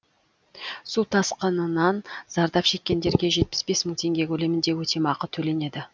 су тасқынынан зардап шеккендерге жетпіс бес мың теңге көлемінде өтемақы төленеді